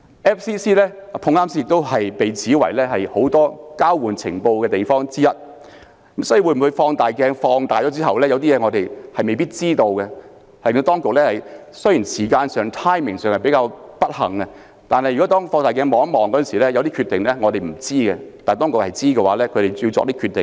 FCC 剛巧被指是交換情報的組織之一，所以會否經放大鏡放大後，有些事情我們未必知道，雖然這件事發生的時間比較不巧，但如果以放大鏡看一看，有些事可能是我們不知道，但當局是知道的而要作出有關決定。